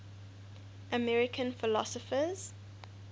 american philosophers